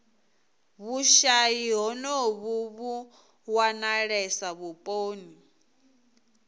vhushayi honovhu vhu wanalesa vhuponi